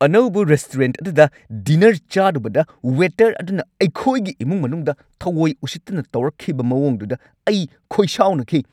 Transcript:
ꯑꯅꯧꯕ ꯔꯦꯁꯇꯨꯔꯦꯟꯠ ꯑꯗꯨꯗ ꯗꯤꯟꯅꯔ ꯆꯥꯔꯨꯕꯗ ꯋꯦꯇꯔ ꯑꯗꯨꯅ ꯑꯩꯈꯣꯏꯒꯤ ꯏꯃꯨꯡ ꯃꯅꯨꯡꯗ ꯊꯑꯣꯢ-ꯎꯁꯤꯠꯇꯅ ꯇꯧꯔꯛꯈꯤꯕ ꯃꯑꯣꯡꯗꯨꯗ ꯑꯩ ꯈꯣꯏꯁꯥꯎꯅꯈꯤ꯫